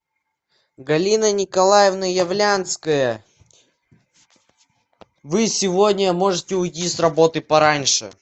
галина николаевна являнская вы сегодня можете уйти с работы пораньше